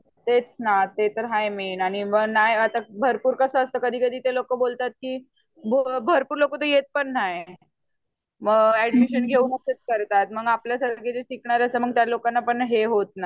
तेच ना ते तर हाय मेन आणि नाय भरपूर कस असतं कधी कधी ते लोक बोलतात की भरपूर लोकं तर येत पण नाय मग एडमीशन घेऊन असाच करतात मग आपल्या सारखी शिकणाऱ्या जे लोक असतात त्यांना हे होत नाय